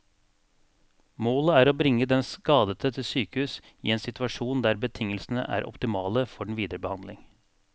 Målet er å bringe den skadede til sykehus i en situasjon der betingelsene er optimale for den videre behandling.